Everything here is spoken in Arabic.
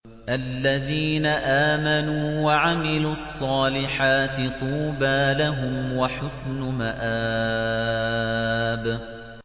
الَّذِينَ آمَنُوا وَعَمِلُوا الصَّالِحَاتِ طُوبَىٰ لَهُمْ وَحُسْنُ مَآبٍ